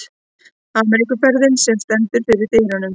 Ameríkuferðinni, sem stendur fyrir dyrum.